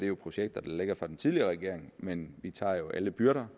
jo projekter der ligger fra den tidligere regering men vi tager alle byrder